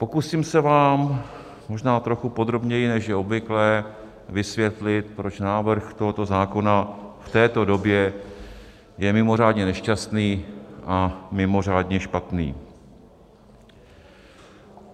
Pokusím se vám možná trochu podrobněji, než je obvyklé, vysvětlit, proč návrh tohoto zákona v této době je mimořádně nešťastný a mimořádně špatný.